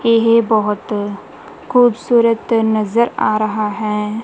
ਇਹ ਬਹੁਤ ਖੂਬਸੂਰਤ ਨਜ਼ਰ ਆ ਰਹਾ ਹੈ।